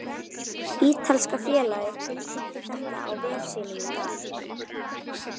Ítalska félagið tilkynnti þetta á vef sínum í dag.